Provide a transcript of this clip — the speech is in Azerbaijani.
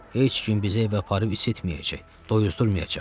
Heç kim bizi evə aparıb isitməyəcək, doyuzdurmayacaq.